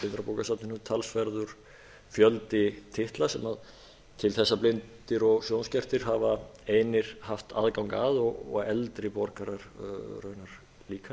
blindrabókasafninu talsverður fjöldi titla til að blindir og sjónskertir hafi einir haft aðgang að og eldri borgarar raunar líka